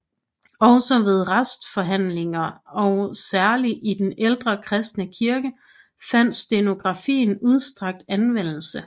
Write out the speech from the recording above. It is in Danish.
Også ved retsforhandlinger og særlig i den ældre kristne kirke fandt stenografien udstrakt anvendelse